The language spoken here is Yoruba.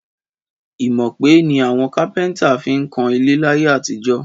Ìmọ̀ọ̀pẹ ni àwọn kápẹ́ntà fi ń kan ilé láyé àtijọ́